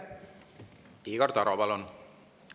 Igor Taro, palun!